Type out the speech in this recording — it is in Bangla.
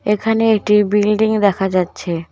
এখানে এটি বিল্ডিং দেখা যাচ্ছে।